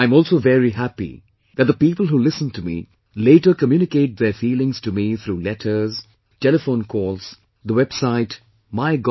I am also very happy that the people who listen to me, later communicate their feelings to me through letters, telephone calls, the website MyGov